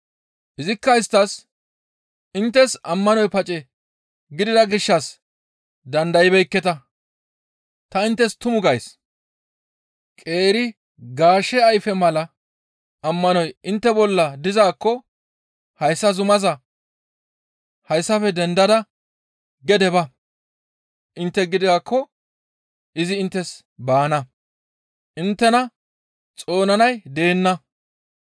Izikka isttas, «Inttes ammanoy pace gidida gishshas dandaybeekketa; ta inttes tumu gays; qeeri gaashe ayfe mala ammanoy intte bolla dizaakko hayssa zumaa, ‹Hayssafe dendada gede ba!› intte gidaakko izi inttes baana. Inttena xoonanay deenna.